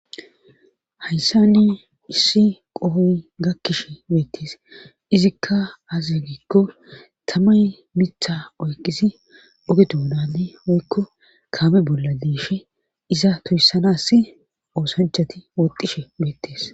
hayssani issi qohoy gakkishe beettes izikka aze gikko tamay mitha oyqisi oge toonane woykko kaame bolla diishe iza toyssanass oosanchati woxishe beettees